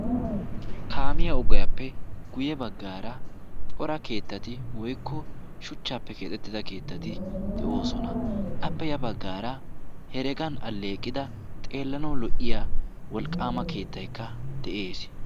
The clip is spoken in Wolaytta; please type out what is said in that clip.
Kaamiya ogiyappe guyye baggaara cora keettati woykko shuchchaappe keexettida keettati de'oosona. Appe ya baggaara heregan alleeqida xeellanawu lo"iya wolqqaama keettaykka de"es.